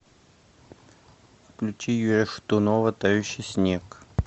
включи юрия шатунова тающий снег